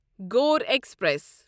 Gor express